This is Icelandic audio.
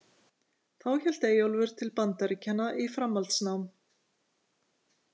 Þá hélt Eyjólfur til Bandaríkjanna í framhaldsnám.